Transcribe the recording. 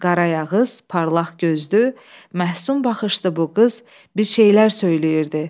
Qara ayağız, parlaq gözlü, məhsün baxışdı bu qız bir şeylər söyləyirdi.